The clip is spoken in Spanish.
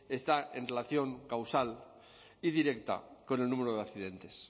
está en relación causal y directa con el número de accidentes